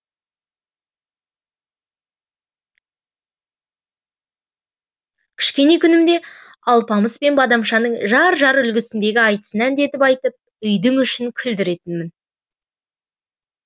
кішкене күнімде алпамыс пен бадамшаның жар жар үлгісіндегі айтысын әндетіп айтып үйдің ішін күлдіретінмін